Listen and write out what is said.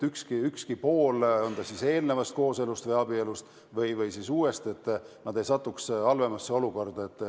Ükski pool, on ta siis eelmisest kooselust või abielust või siis uuest, ei tohi sattuda halvemasse olukorda.